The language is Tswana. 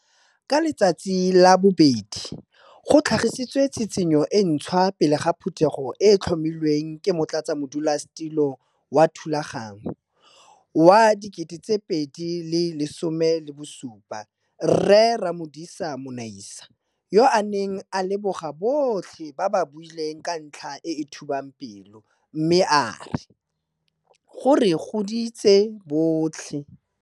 Ka Letsatsi la Bobedi go tlhagisitswe tshitshinyo e ntshwa pele ga Phuthego e e tlhomilweng ke Motlatsamodulasetilo wa thulaganyo wa 2017 Rre Ramodisa Monaisa, yo a neng a leboga botlhe ba ba buileng ka ntlha e e thubang pelo mme a re. Go re goditse botlhe.